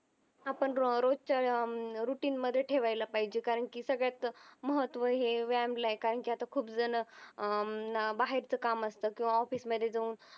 आपण या अं routine मध्ये ठेवायला पाहिजे कारण कि सगळ्यात महत्व हे व्यायाम ला आहे कारण की आता खूप जण अं बाहेरच काम असत किंवा office मध्ये जाऊन